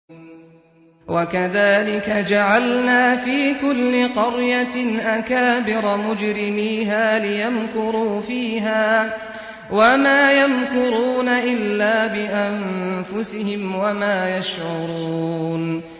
وَكَذَٰلِكَ جَعَلْنَا فِي كُلِّ قَرْيَةٍ أَكَابِرَ مُجْرِمِيهَا لِيَمْكُرُوا فِيهَا ۖ وَمَا يَمْكُرُونَ إِلَّا بِأَنفُسِهِمْ وَمَا يَشْعُرُونَ